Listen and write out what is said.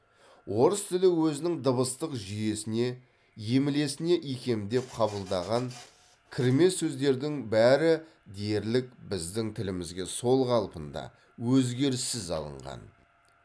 орыс тілі өзінің дыбыстық жүйесіне емлесіне икемдеп қабылдаған кірме сөздердің бәрі дерлік біздің тілімізге сол қалпында өзгеріссіз алынған